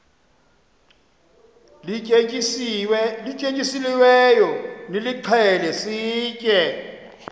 lityetyisiweyo nilixhele sitye